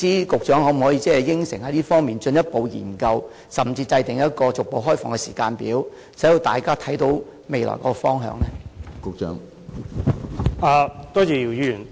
局長可否承諾就這方面作進一步研究，甚至制訂一個逐步開放的時間表，令大家可以看得到未來的方向呢？